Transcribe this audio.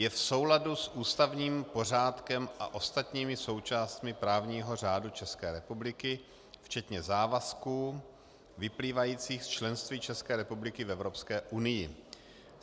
Je v souladu s ústavním pořádkem a ostatními součástmi právního řádu České republiky včetně závazků, vyplývajících z členství České republiky v Evropské unii.